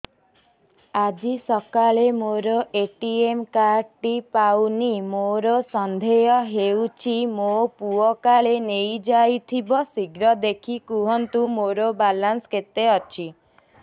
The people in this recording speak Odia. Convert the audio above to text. ଆଜି ସକାଳେ ମୋର ଏ.ଟି.ଏମ୍ କାର୍ଡ ଟି ପାଉନି ମୋର ସନ୍ଦେହ ହଉଚି ମୋ ପୁଅ କାଳେ ନେଇଯାଇଥିବ ଶୀଘ୍ର ଦେଖି କୁହନ୍ତୁ ମୋର ବାଲାନ୍ସ କେତେ ଅଛି